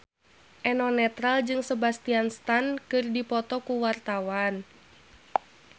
Eno Netral jeung Sebastian Stan keur dipoto ku wartawan